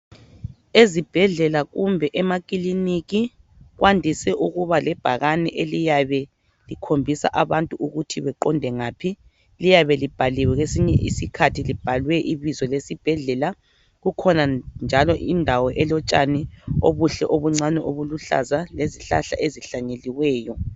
Ezibhedlela kumbe emakiliniki kwandise ukuba lebhakane eliyabe likhonbisa abantu ukuthi baqonde ngaphi liyabe libhaliwe kwesinye isikhathi libhaliwe ibizo lesibhedlela kukhona njalo indawo elotshani obuhle obuncane obuluhlaza lezihlahla ezihlanyeliweyo.